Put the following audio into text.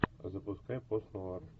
запускай постнуар